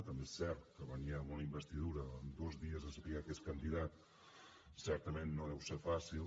també és cert que venir amb una investidura amb dos dies de saber que és candidat certament no deu ser fàcil